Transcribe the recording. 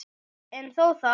En þó það.